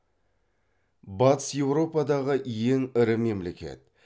батыс еуропадағы ең ірі мемлекет